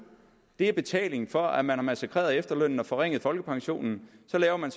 er betaling for at man har massakreret efterlønnen og forringet folkepensionen så laver man